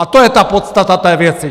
A to je ta podstata té věci.